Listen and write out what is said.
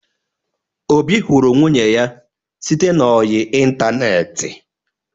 Obi hụrụ nwunye ya site n'ọyị ịntaneetị.